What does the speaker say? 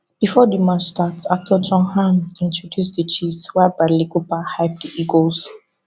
bifor di match start actor jon hamm introduce di chiefs while bradley cooper hype di eagles